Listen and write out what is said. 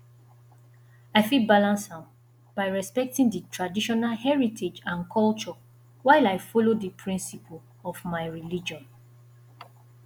i fit balance am by respecting di traditional heritage and culture while i follow di principle of my religion